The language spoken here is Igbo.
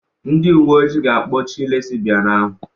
Ndị uwe ojii ga-akpọchi lesibian ahụ.